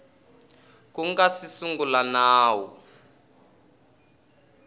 ku nga si sungula nawu